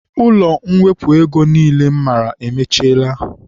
Ụlọ mwepụ ego niile m maara emechiela